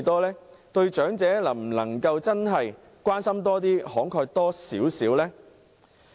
能否對長者多點關心，慷慨一點呢？